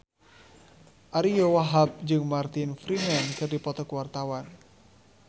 Ariyo Wahab jeung Martin Freeman keur dipoto ku wartawan